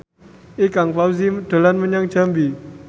Ikang Fawzi dolan menyang Jambi